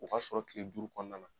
O k'a sɔrɔ kile duuru kɔnɔna na.